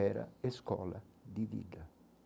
Era escola de vida.